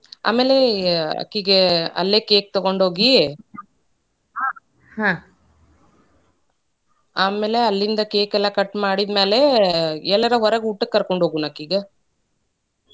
ಆಮ್ಯಾಲೇ, ಅಕಿಗೆ ಅಲ್ಲೇ cake ತಗೋಂಡ್ಹೋಗಿ ಹ್ಮ ಆಮ್ಯಾಲೆ ಅಲ್ಲಿಂದ cake ಎಲ್ಲಾ cut ಮಾಡಿದ್ಮೇಲೆ, ಎಲ್ಲಾರ ಹೊರಗ್ ಊಟಕ್ಕ ಕರ್ಕೋಂಡ್ ಹೋಗುಣಕಿಗೆ.